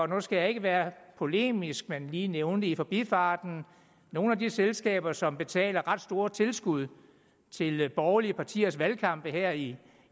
nu skal jeg ikke være polemisk men lige nævne det i forbifarten at nogle af de selskaber som betaler ret store tilskud til borgerlige partiers valgkampe her i